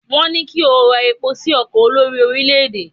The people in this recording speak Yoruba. wón ní kí o rọ epo sí ọkọ olórí orilẹ ede